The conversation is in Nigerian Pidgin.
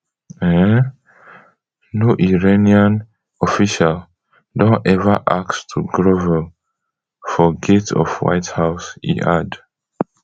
um no iranian official don ever ask to grovel for gates of white house e add